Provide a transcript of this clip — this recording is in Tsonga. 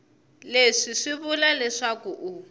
leswi swi vula leswaku u